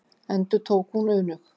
endurtók hún önug.